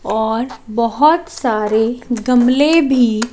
और बहुत सारे गमले भी--